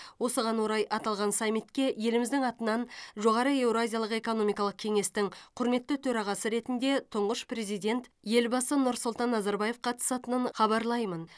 осыған орай аталған саммитке еліміздің атынан жоғары еуразиялық экономикалық кеңестің құрметті төрағасы ретінде тұңғыш президент елбасы нұрсұлтан назарбаев қатысатынын хабарлаймын